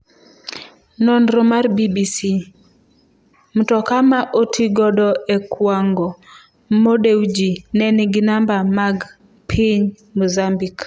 Nonro mar BBC: Mtoka ma otigodo e kwango Mo Dewji ne nigi namba mag piny Mozambique